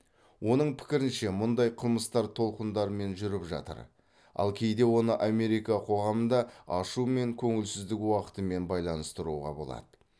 оның пікірінше мұндай қылмыстар толқындармен жүріп жатыр ал кейде оны америка қоғамында ашу мен көңілсіздік уақытымен байланыстыруға болады